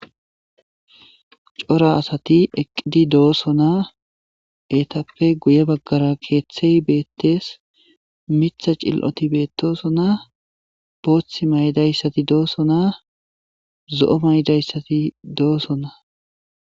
Chora asati eqidi deosoona eyitapoe guye bagara keththeyi beteesi miththa cililoti betosona bothi mayidayiti dosona zoo mayidayiti deosona